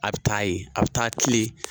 A bɛ taa ye a bɛ taa kilen